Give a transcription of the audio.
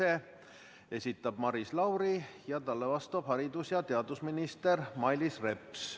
Selle esitab Maris Lauri ja talle vastab haridus- ja teadusminister Mailis Reps.